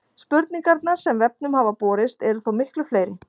Spurningarnar sem vefnum hafa borist eru þó miklu fleiri.